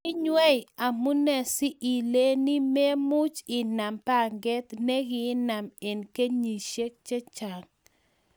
kinywei,, amunee si ileeni me much inam pangee ne kiinam eng kenyishe che chang